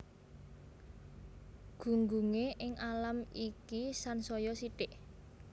Gunggunge ing alam iki sansaya sithik